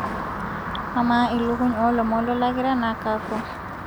amaa ilukuny oolomon lolakira naa kakua